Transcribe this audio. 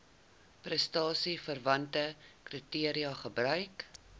prestasieverwante kriteria gebruik